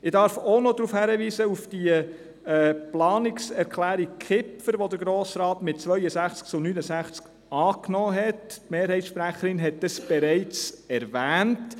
Ich darf auch noch auf die Planungserklärung Kipfer hinweisen, die der Grosse Rat mit 62 zu 69 Stimmen angenommen hatte, die Mehrheitssprecherin hat es bereits erwähnt.